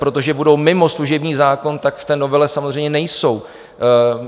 Protože budou mimo služební zákon, tak v té novele samozřejmě nejsou.